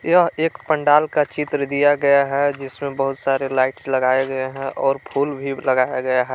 यह एक पंडाल का चित्र दिया गया है जिसमें बहुत सारे लाइट्स लगाए गए हैं और फूल भी लगाया गया है।